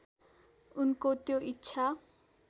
उनको त्यो इच्छा